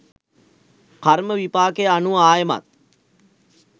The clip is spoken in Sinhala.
කර්ම විපාක අනුව ආයෙමත්